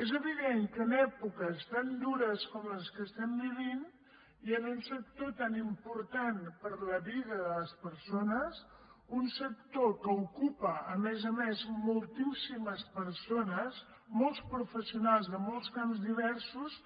és evident que en èpoques tan dures com les que estem vivint i en un sector tan important per a la vida de les persones un sector que ocupa a més a més moltíssimes persones molts professionals de molts camps diversos